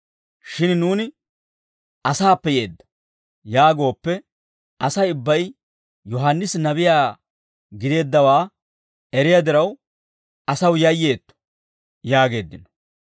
Shin nuuni, ‹Asaappe yeedda› yaagooppe, Asay ubbay Yohaannisi nabiyaa gideeddawaa eriyaa diraw, asaw yayyeetto» yaageeddino.